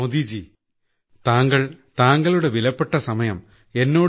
മോദിജി താങ്കൾ താങ്കളുടെ വിലപ്പെട്ട സമയം എന്നോട്